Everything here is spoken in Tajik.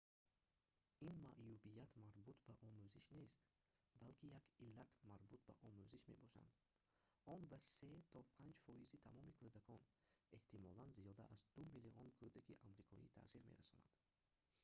ин маъюбият марбут ба омӯзиш нест балки як иллат марбут ба омӯзиш мебошад он ба 3 то 5 фоизи тамоми кӯдакон эҳтимолан зиёда аз 2 миллион кӯдаки амрикоӣ таъсир мерасонад